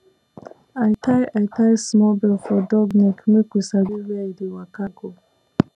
i tie i tie small bell for dog neck make we sabi where e dey waka go